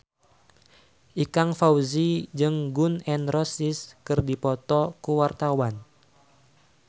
Ikang Fawzi jeung Gun N Roses keur dipoto ku wartawan